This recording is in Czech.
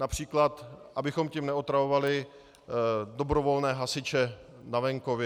Například abychom tím neotravovali dobrovolné hasiče na venkově.